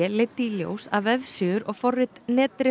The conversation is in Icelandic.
leiddi í ljós að vefsíður og forrit